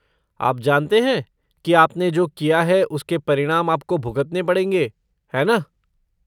आप जानते हैं कि आपने जो किया है उसके परिणाम आप को भुगतने पड़ेंगे, है ना?